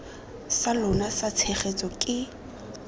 sa lona sa tshegetso ke